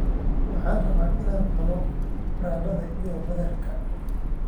Waxaan rabaa inaan cuno baradhada iyo badarka